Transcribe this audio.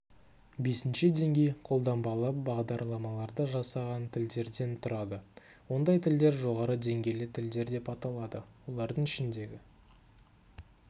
бесінші деңгей қолданбалы бағдарламаларды жасаған тілдерден тұрады ондай тілдер жоғарғы деңгейлі тілдер деп аталады олардың ішіндегі